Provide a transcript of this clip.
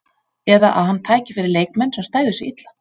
Eða að hann tæki fyrir leikmenn, sem stæðu sig illa?